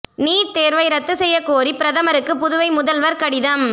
NEET தோ்வை ரத்து செய்யக் கோரி பிரதமருக்கு புதுவை முதல்வா் கடிதம்